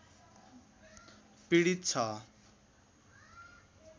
पिडित छ